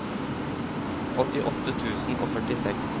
åttiåtte tusen og førtiseks